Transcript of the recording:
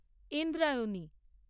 Indrayani